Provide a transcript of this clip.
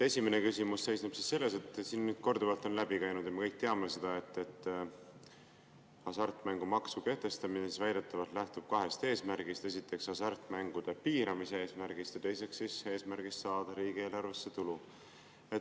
Esimene küsimus seisneb selles, et siin on korduvalt läbi käinud ja me kõik teame seda, et hasartmängumaksu kehtestamine väidetavalt lähtub kahest eesmärgist: esiteks hasartmängude piiramise eesmärgist ja teiseks eesmärgist saada riigieelarvesse tulu.